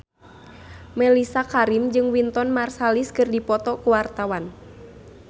Mellisa Karim jeung Wynton Marsalis keur dipoto ku wartawan